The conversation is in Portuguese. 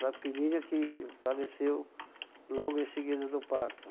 Da filhinha que faleceu logo em seguida do parto.